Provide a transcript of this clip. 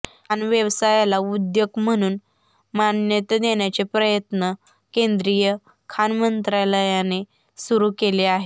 खाण व्यवसायाला उद्योग म्हणून मान्यता देण्याचे प्रयत्न केंदीय खाण मंत्रालयाने सुरू केले आहेत